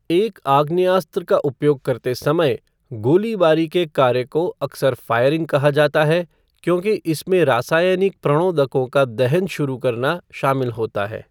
एक आग्नेयास्त्र का उपयोग करते समय, गोलीबारी के कार्य को अक्सर फ़ायरिंग कहा जाता है क्योंकि इसमें रासायनिक प्रणोदकों का दहन शुरू करना शामिल होता है।